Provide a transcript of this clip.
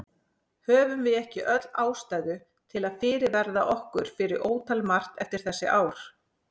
Höfum við ekki öll ástæðu til að fyrirverða okkur fyrir ótal margt eftir þessi ár?